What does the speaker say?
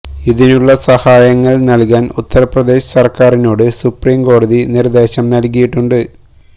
ഇതിനുള്ള സഹായങ്ങള് നല്കാന് ഉത്തര് പ്രദേശ് സര്ക്കാരിനോട് സുപ്രീം കോടതി നിര്ദേശം നല്കിയിട്ടുണ്ട്